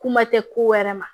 Kuma tɛ ko wɛrɛ ma